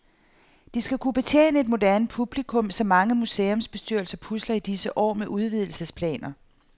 De skal kunne betjene et moderne publikum, så mange museumsbestyrelser pusler i disse år med udvidelsesplaner.